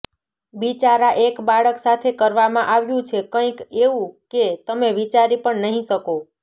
બિચારા એક બાળક સાથે કરવામાં આવ્યું છે કંઈક એવું કે તમે વિચારી પણ નહીં શકો